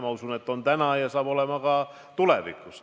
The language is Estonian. Ma usun, et nii on see täna ja nii saab see olema ka tulevikus.